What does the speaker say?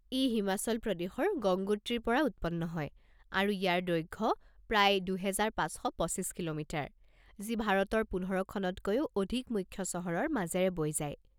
ই হিমাচল প্ৰদেশৰ গংগোত্ৰীৰ পৰা উৎপন্ন হয়, আৰু ইয়াৰ দৈৰ্ঘ্য প্ৰায় পঁচিছ শ পঁচিছ কিলোমিটাৰ, যি ভাৰতৰ পোন্ধৰ খনতকৈও অধিক মুখ্য চহৰৰ মাজেৰে বৈ যায়।